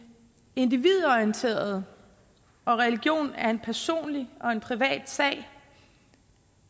individorienterede og religion er en personlig og en privat sag